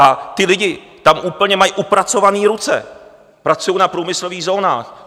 A ti lidi tam úplně mají upracované ruce, pracují na průmyslových zónách.